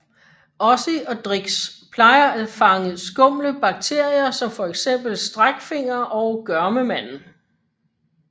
Ozzy og Drix plejer at fange skumle bakterier som for eksempel Streckfinger eller Gørmemanden